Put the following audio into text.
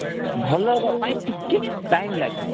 ଭଲ ହେବା ପାଇଁ ଟିକେ time ଲାଗିବ